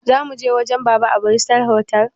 Zamuje wajen baba a bristol otal?